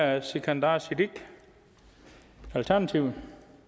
er sikandar siddique alternativet